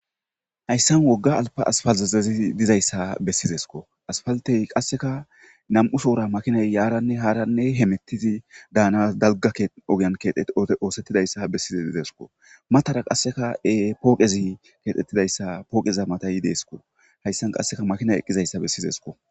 Hayssan wogga asppalththezazi dizayssa bessizeskoo; asppalththee qassikaa nam7ushoora makinay yaaranne haaranne hemeththizi baanaas dalgga ogiyan ooseththizeyssa bessize dizeysikoo; mathara qassika pooqezi keexeththizayssa pooqetha matha yizeysikoo; hayssan qassi makiinay eqqizeyssa bessizes koo.